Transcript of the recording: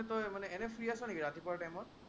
তই এনেই ফ্ৰি আছ নেকি ৰাতিপুৱাৰ time ত?